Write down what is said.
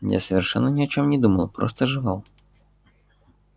я совершенно ни о чем не думал просто жевал